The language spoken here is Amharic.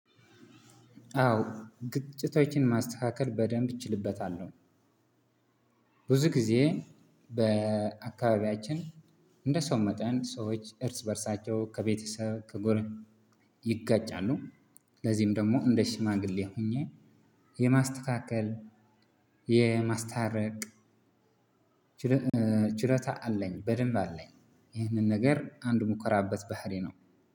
አዎ ግጭቶችን ማስተካከል በደንብ እችልበታለሁ። ብዙ ጊዜ በአካባቢያችን እንደ ሰው መጠን ሰዎች እርስ በእርሳቸው ከቤተሰብ ከጎረቤት ይጋጫሉ። ለዚህም ደሞ እንደ ሺማግሌ ሆኘ የማስተካከል የማስታረቅ ቺሎታ አለኝ በደንብ አለኝ። ይህንን ነገር አንድ የምኮራበት ባህሪዬ ነው።